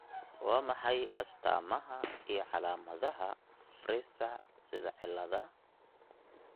Waa maxay astamaha iyo calaamadaha Fraser sida ciladaha?